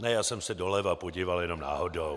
Ne, já jsem se doleva podíval jen náhodou.